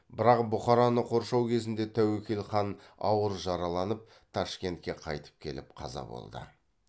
бірақ бұхараны қоршау кезінде тәуекел хан ауыр жараланып ташкентке қайтып келіп қаза болды